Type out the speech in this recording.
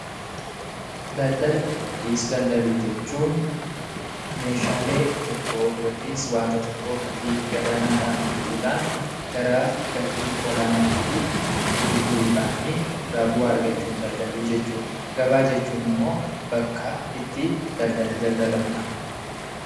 Daldala yookis daldaluu jechuun meeshaalee tokkoo yookis wanta tokkoo gatii gadaanaadhaan bituudhaan garaa gatii olaanaatti gurguruudhaanii irraa bu'aa argachuun daldaluu jechuudha. Gabaa jechuun immoo bakka itti daldalli daldalamudha.